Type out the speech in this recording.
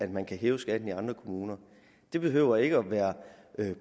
man kan hæve skatten i andre kommuner det behøver ikke være